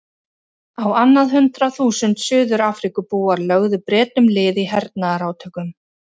Á annað hundrað þúsund Suður-Afríkubúar lögðu Bretum lið í hernaðarátökum.